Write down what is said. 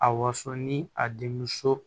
A waso ni a denmuso